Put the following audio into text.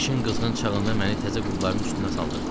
İşin qızğın çağında məni təzə qulların üstünə saldırır.